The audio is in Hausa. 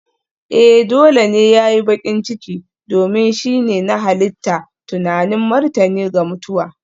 Ee! Dole ne ya yi baƙin ciki, domin shi ne na halitta tunanin martani ga mutuwa.